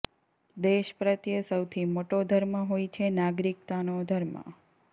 દેશ પ્રત્યે સૌથી મોટો ધર્મ હોય છે નાગરિકતાનો ધર્મ